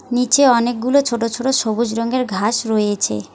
নীচে অনেকগুলো ছোট ছোট সবুজ রঙ্গের ঘাস রয়েছে।